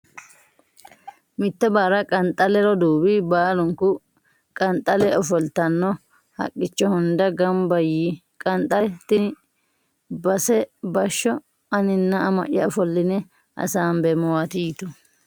Mitto barra Qanxaa le roduuwi baalunku Qanxaa le ofoltanno haqqicho hunda gamba yii Qanxaa le Tini base bashsho aninna ama ya ofolline hasaambeemmowaati yitu.